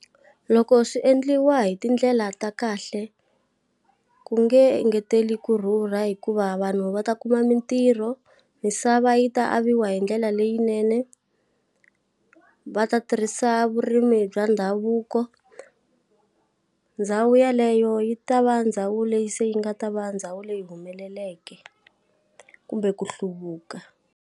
Loko swi endliwa hi tindlela ta kahle, ku nge engeteli ku rhurha hikuva vanhu va ta kuma mitirho, misava yi ta aviwa hi ndlela leyinene, va ta tirhisa vurimi bya ndhavuko. Ndhawu yeleyo yi ta va ndhawu leyi se yi nga ta va ndhawu leyi humeleleke, kumbe ku hluvuka.